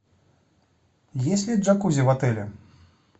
есть ли джакузи в отеле